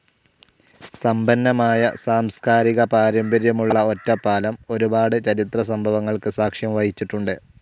സമ്പന്നമായ സാംസ്കാരിക പാരമ്പര്യമുള്ള ഒറ്റപ്പാലം ഒരുപാട് ചരിത്ര സംഭവങ്ങൾക്ക് സാക്ഷ്യം വഹിച്ചിട്ടുണ്ട്.